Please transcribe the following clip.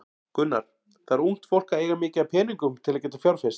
Gunnar: Þarf ungt fólk að eiga mikið af peningum til að geta fjárfest?